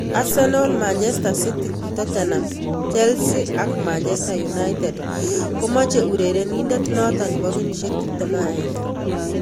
Arsenal, Manchester City, Tottenham, Chelsea ak Manchester United konmoche urerenindet noto nebo kenyisiek 21.